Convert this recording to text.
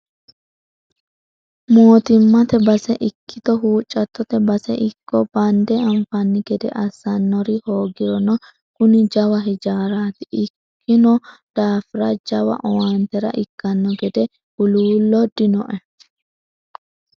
Mootimmate base ikkitto huuccattote base ikko bande anfanni gede assanori hoogirono kuni jawa hijaarati ikkino daafira jawa owaantera ikkano gede huluullo dinoe.